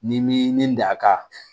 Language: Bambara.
Ni m'i ni da ka